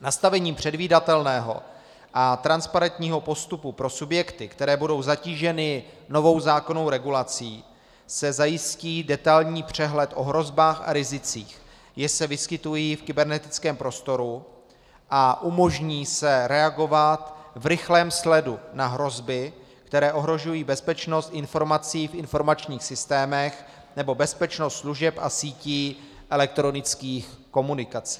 Nastavením předvídatelného a transparentního postupu pro subjekty, které budou zatíženy novou zákonnou regulací, se zajistí detailní přehled o hrozbách a rizicích, jež se vyskytují v kybernetickém prostoru, a umožní se reagovat v rychlém sledu na hrozby, které ohrožují bezpečnost informací v informačních systémech nebo bezpečnost služeb a sítí elektronických komunikací.